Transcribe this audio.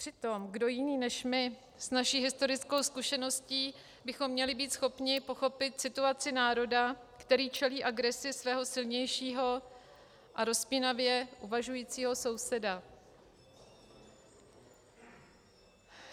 Přitom kdo jiný než my s naší historickou zkušeností bychom měli být schopni pochopit situaci národa, který čelí agresi svého silnějšího a rozpínavě uvažujícího souseda?